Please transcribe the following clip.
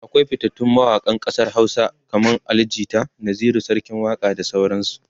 akwai fitattun mawaƙan ƙasar Hausa kaman Ali jita, Naziru sarkin waƙa da sauran su